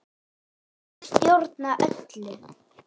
Ég stjórna öllu.